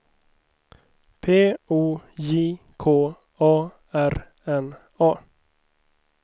P O J K A R N A